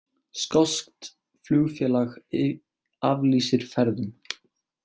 Skoskt flugfélag aflýsir ferðum